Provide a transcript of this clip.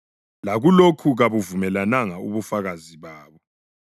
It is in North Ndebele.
Lakulokhu kabuvumelananga ubufakazi babo.